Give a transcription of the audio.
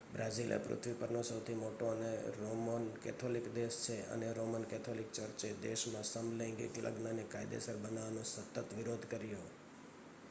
Brazil એ પૃથ્વી પરનો સૌથી મોટો રોમન કેથોલિક દેશ છે અને રોમન કેથોલિક ચર્ચે દેશમાં સમલૈંગિક લગ્નને કાયદેસર બનાવવાનો સતત વિરોધ કર્યો